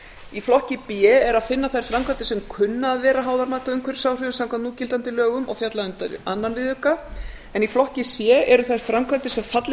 í flokki b er að finna þær framkvæmdir sem kunna að vera háðar mati á umhverfisáhrifum samkvæmt núgildandi lögum og falla undir öðrum viðauka í flokki c eru þær framkvæmdir sem fallið